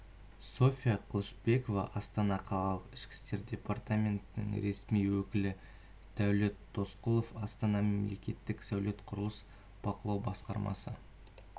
софия қылышбекова астана қаласының ішкі істер департаментінің ресми өкілі дәулет досқұлов астана мемлекеттік сәулет-құрылыс бақылау басқармасы